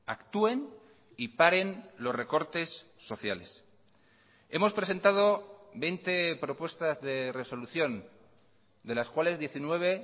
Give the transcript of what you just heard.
actúen y paren los recortes sociales hemos presentado veinte propuestas de resolución de las cuales diecinueve